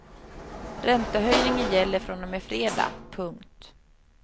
Räntehöjningen gäller från och med fredag. punkt